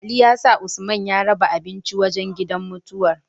Ali ya sa usman ya raba abinci wajan gidan mutuwar